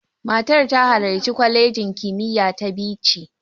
Matar ta halarci kwalejin kimiyya ta Bichi.